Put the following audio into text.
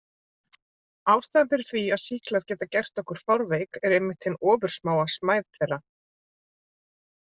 Ástæðan fyrir því að sýklar geta gert okkur fárveik er einmitt hin ofursmáa smæð þeirra.